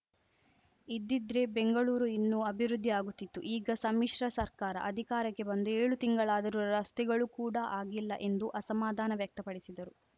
ಇದ್ದಿದ್ರೆ ಬೆಂಗಳೂರು ಇನ್ನೂ ಅಭಿವೃದ್ಧಿ ಆಗುತ್ತಿತ್ತು ಈಗ ಸಮ್ಮಿಶ್ರ ಸರ್ಕಾರ ಅಧಿಕಾರಕ್ಕೆ ಬಂದು ಏಳು ತಿಂಗಳಾದರೂ ರಸ್ತೆಗಳು ಕೂಡ ಆಗಿಲ್ಲ ಎಂದು ಅಸಮಾಧಾನ ವ್ಯಕ್ತಪಡಿಸಿದರು